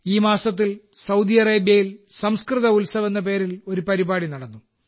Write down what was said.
ഈ മാസത്തിൽ സൌദി അറേബ്യയിൽ സംസ്കൃത ഉത്സവ് എന്ന പേരിൽ ഒരു പരിപാടി നടന്നു